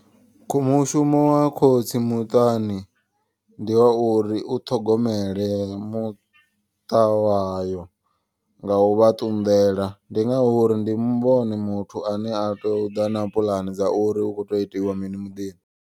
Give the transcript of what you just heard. Kho mushumo wa khotsi muṱani ndi wa uri u ṱhogomele muṱa wayo. Nga uvha ṱunḓela ndi ngauri ndi vhone muthu ane a tea uḓa na puḽane dza uri hu kho tea u itiwa mini muḓini.